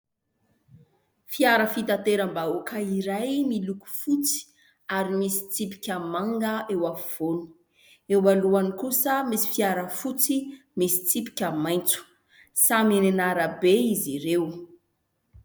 Fiara fitateram-bahoaka iray miloko fotsy ary misy tsipika manga eo afovoany, eo alohany kosa misy fiara fotsy misy tsipika maitso. Samy eny an'arabe izy ireo.